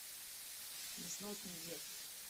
несносный дед